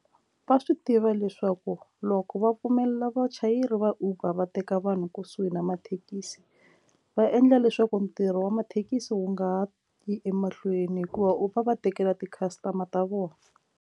Va swi tiva leswaku loko va pfumelela vachayeri va uber va teka vanhu kusuhi na mathekisi va endla leswaku ntirho wa mathekisi wu nga ha yi emahlweni hikuva u va va tekela ti customer ta vona.